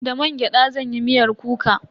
Da mangyada zan yi miyar kuka.